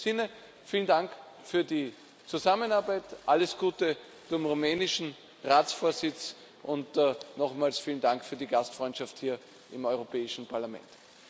In diesem Sinne Vielen Dank für die Zusammenarbeit, alles Gute dem rumänischen Ratsvorsitz und nochmals vielen Dank für die Gastfreundschaft hier im Europäischen Parlament!